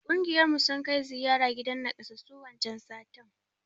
Ƙungiyar mu sun kai ziyara gidan nakassasu wancan satin.